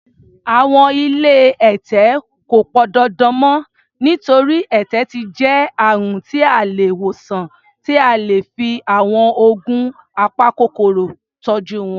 Àwọn ilé ẹ̀tẹ̀ kò pọndandan mọ́, nítorí, ẹ̀tẹ̀ ti jẹ́ àrùn tí a lè wòsàn tí a lè fi àwọn oògùn apakòkòrò tọ́jú wọn.